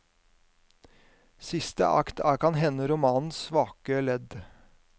Siste akt er kan hende romanens svake ledd.